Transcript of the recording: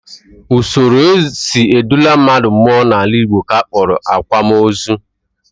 Usoro e si edula mmadụ mmụọ n'omenala Igbo ka a kpọrọ akwamozu